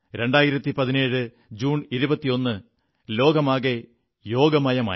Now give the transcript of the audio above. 2017 June 21 ലോകമാകെ യോഗമയമായി